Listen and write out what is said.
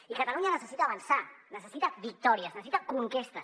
i catalunya necessita avançar necessita victòries necessita conquestes